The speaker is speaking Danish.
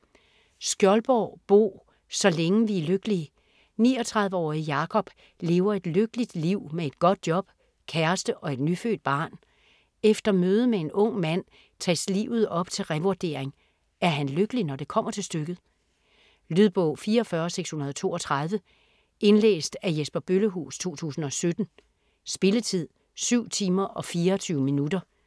Skjoldborg, Bo: Så længe vi er lykkelige 39-årige Jakob lever et lykkeligt liv med et godt job, kæreste og et nyfødt barn. Efter mødet med en ung mand tages livet op til revurdering; er han lykkelig når det kommer til stykket? Lydbog 44632 Indlæst af Jesper Bøllehuus, 2017. Spilletid: 7 timer, 24 minutter.